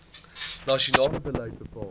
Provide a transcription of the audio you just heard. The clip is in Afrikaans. nasionale beleid bepaal